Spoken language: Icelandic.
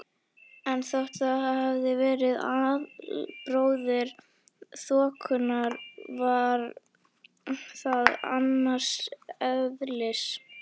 En þótt það væri albróðir þokunnar var það annars eðlis.